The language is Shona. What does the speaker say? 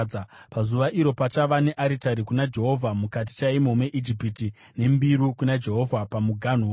Pazuva iro, pachava nearitari kuna Jehovha mukati chaimo meIjipiti, nembiru kuna Jehovha pamuganhu wayo.